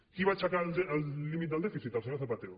qui va aixecar el límit del dèficit el senyor zapatero